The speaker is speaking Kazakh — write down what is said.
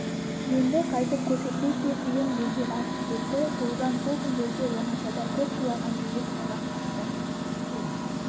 енді қайтып көрсетпестей қиын белден асып кетті тоғжан сол күндерде оңашада көп жылаған жүдеп қалған қатты